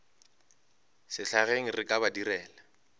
sehlageng re ka ba direla